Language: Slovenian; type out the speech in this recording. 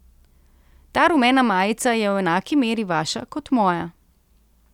Ta rumena majica je v enaki meri vaša kot moja.